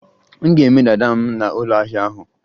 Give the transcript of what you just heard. M ga-eme dada m na ụlọahia ahu